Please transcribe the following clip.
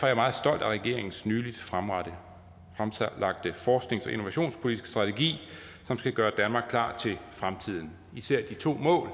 jeg meget stolt af regeringens nylig fremlagte forsknings og innovationspolitiske strategi som skal gøre danmark klar til fremtiden især de to mål